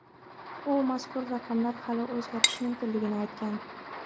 U mazkur raqamlar hali o‘zgarishi mumkinligini aytgan.